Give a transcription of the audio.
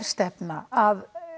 stefna að